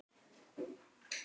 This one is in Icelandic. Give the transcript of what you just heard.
Var þetta minn besti leikur?